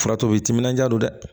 O furatɔ u tɛ timinandiya don dɛ